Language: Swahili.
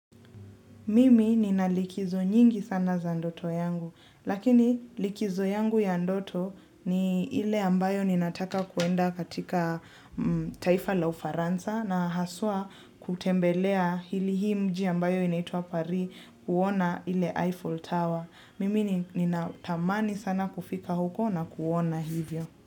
Mimi nina likizo nyingi sana za ndoto yangu, lakini likizo yangu ya ndoto ni ile ambayo ninataka kuenda katika taifa la ufaransa na haswa kutembelea hili hii mji ambayo inaitua Paris kuona ile Eiffel Tower. Mimi ninatamani sana kufika huko na kuona hivyo.